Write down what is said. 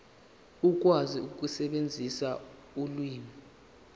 ukwazi ukusebenzisa ulimi